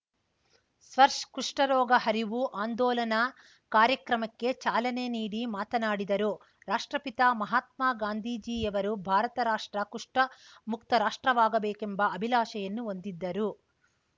ಸ್ಪರ್ಶ್ ಕುಷ್ಠರೋಗ ಅರಿವು ಅಂದೋಲನ ಕಾರ್ಯಕ್ರಮಕ್ಕೆ ಚಾಲನೆ ನೀಡಿ ಮಾತನಾಡಿದರು ರಾಷ್ಟ್ರಪಿತ ಮಹಾತ್ಮಗಾಂಜಿಯವರು ಭಾರತ ರಾಷ್ಟ್ರ ಕುಷ್ಠ ಮುಕ್ತ ರಾಷ್ಟ್ರವಾಗಬೇಕೆಂಬ ಅಭಿಲಾಷೆಯನ್ನು ಹೊಂದಿದ್ದರು